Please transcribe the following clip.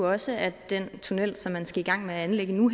også at den tunnel som man skal i gang med at anlægge nu